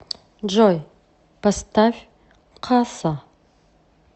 джой поставь касса